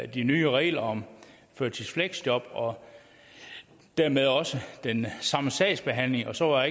de nye regler om førtidsfleksjob og dermed også den samme sagsbehandling og så var